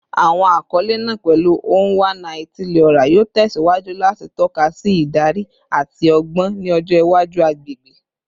Awọn akọle naa, pẹlu “Onwa-na-etili-ora,” yoo tẹsiwaju lati tọka si idari ati ọgbọn ni ọjọ iwaju agbegbe